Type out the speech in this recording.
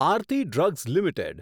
Aarti drugs limited